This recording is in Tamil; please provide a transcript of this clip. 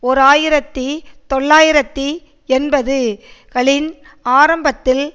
ஓர் ஆயிரத்தி தொள்ளாயிரத்து எண்பதுகளின் ஆரம்பத்தில்